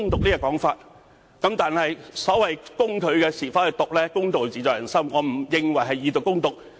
至於攻擊他的是否"毒"，公道自在人心，我並不認為是"以毒攻毒"。